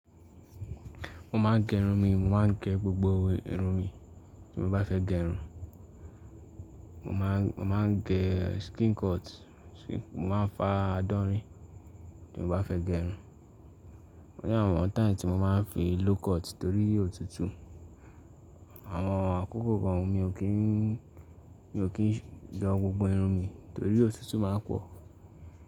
Mo máa ń gẹ irun mi, mo máa ń gẹ gbogbo irun mi tí mo bá fẹ́ gẹ irun. Mo máa ń gẹ skin cut, mo máa ń fa adọ́rín tí mo bá fẹ́ gẹ irun. Ó ní àwọn time tí mo máa ń fi low cut torí́ òtùtù. Àwọn àkókò kan mi ò kí ń ge gbogbo irun mi torí́ òtùtù máa ń pọ̀.